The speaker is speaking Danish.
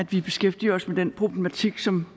vi beskæftiger os med den problematik som